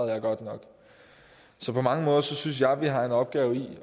jeg godt nok så på mange måder synes jeg vi har en opgave i